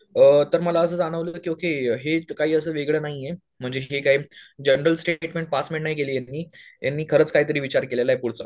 अ तर मला असं जाणवलं की ओके हे इतकं असं काय वेगळं नाही आहे. म्हणजे हे काय जनरल स्टेटमेंट पास पण नाही केली यांनी यांनी खरचं काय तर विचार केलेला आहे पुढचं